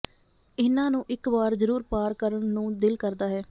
ਇਨ੍ਹਾਂ ਨੂੰ ਇੱਕ ਵਾਰ ਜ਼ਰੂਰ ਪਾਰ ਕਰਨ ਨੂੰ ਦਿਲ ਕਰਦਾ ਹੈ